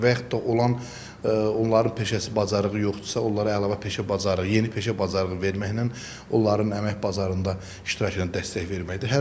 və yaxud da olan onların peşəsi bacarığı yoxdursa, onlara əlavə peşə bacarığı, yeni peşə bacarığı verməklə onların əmək bazarında iştirakına dəstək verməkdir.